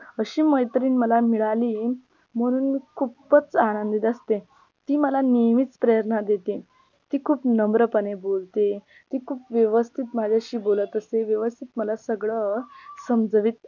अशी मैत्रीण मला मिळाली म्हणून मी खूपच आनंदित असते ती मला नेहमीच प्रेरणा देते ती खूप नम्रपणे बोलते ती खूप व्यवस्थित माझ्याशी बोलत असते व्यवस्थित मला सगळं समजावीत